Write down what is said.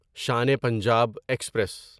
Shan e Punjab express